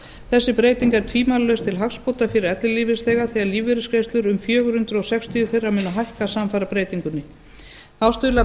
þessi breyting er tvímælalaust til hagsbóta fyrir ellilífeyrisþega þegar lífeyrisgreiðslur um fjögur hundruð sextíu þeirra munu hækka samfara breytingunni þá stuðlar